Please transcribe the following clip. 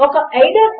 అది ఒక login form